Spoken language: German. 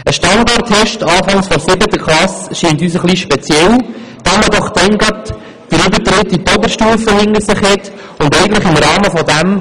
Ein Standardtest am Anfang der siebten Klasse scheint uns etwas speziell, da man doch zu diesem Zeitpunkt gerade den Übertritt in die Oberstufe hinter sich hat.